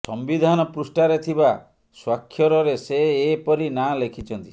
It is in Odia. ସମ୍ବିଧାନ ପୃଷ୍ଠାରେ ଥିବା ସ୍ୱାକ୍ଷରରେ ସେ ଏ ପରି ନାଁ ଲେଖିଛନ୍ତି